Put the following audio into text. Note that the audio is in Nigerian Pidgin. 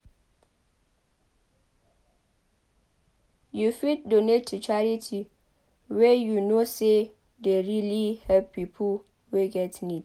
You fit donate to charity wey you know sey dey really help pipo wey get need